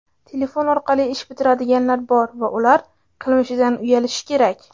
telefon orqali ish bitiradiganlar bor va ular qilmishidan uyalishi kerak.